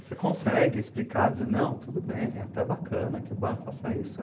Você consegue explicar, dizer, não, tudo bem, é até bacana que o bar faça isso.